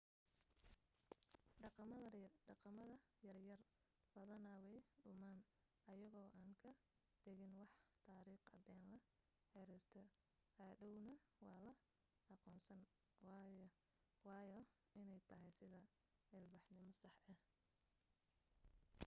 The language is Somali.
dhaqamada yar yar badana way dhumaan ayagoo aan ka tagin wax tariikh cadeen la xirirta hadhowna waa la aqoonsan waayaa inay tahay sida ilbaxnimo sax ah